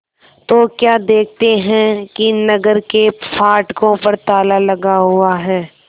तो क्या देखते हैं कि नगर के फाटकों पर ताला लगा हुआ है